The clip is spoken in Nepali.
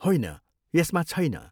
होइन, यसमा छैन।